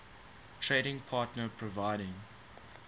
trading partner providing